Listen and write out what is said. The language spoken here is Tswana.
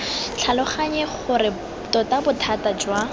tlhaloganye gore tota bothata jwa